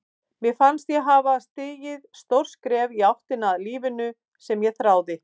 Mér fannst ég hafa stigið stórt skref í áttina að lífinu sem ég þráði.